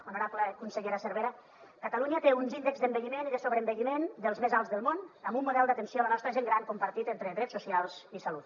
honorable consellera cervera catalunya té uns dels índexs d’envelliment i de sobreenvelliment més alts del món amb un model d’atenció a la nostra gent gran compartit entre drets socials i salut